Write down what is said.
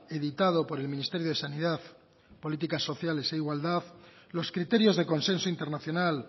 editado por el ministerio de sanidad políticas sociales e igualdad los criterios de consenso internacional